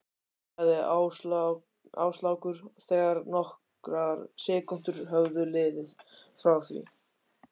sagði Áslákur þegar nokkrar sekúndur höfðu liðið frá því